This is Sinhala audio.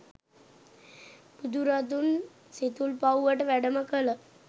බුදුරදුන් සිතුල්පව්වට වැඩම කළ